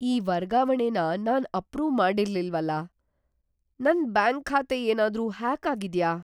ಈ ವರ್ಗಾವಣೆನ ನಾನ್ ಅಪ್ರೂವ್‌ ಮಾಡಿರ್ಲಿಲ್ವಲ್ಲ! ನನ್ ಬ್ಯಾಂಕ್ ಖಾತೆ ಏನಾದ್ರೂ ಹ್ಯಾಕ್ ಆಗಿದ್ಯಾ?